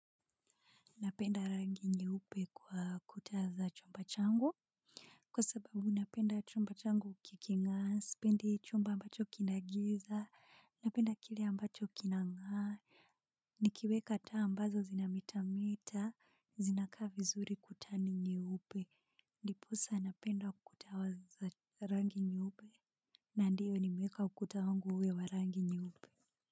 Napenda rangi nyeupe kwa kuta za chumba changu. Kwa sababu napenda chumba changu kikingaa, sipendi chumba ambacho kina giza, napenda kile ambacho kinangaa. Nikiweka taa ambazo zinametameta, zinakaa vizuri kuta nyeupe, ndiposa napenda kuta wa za rangi nyeupe. Na ndiyo nimeeka ukuta wangu uwe wa rangi nyeupe.